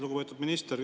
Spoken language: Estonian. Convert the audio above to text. Lugupeetud minister!